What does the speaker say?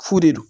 Fu de don